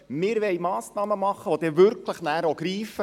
Wir wollen Massnahmen treffen, die wirklich auch greifen.